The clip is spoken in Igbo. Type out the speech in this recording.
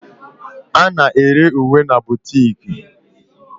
A na-ere uwe na boutiques